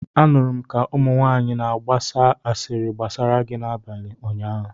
Anụrụm ka ụmụnwanyị na-agba asịrị gbasara gị n'abalị ụnyaahụ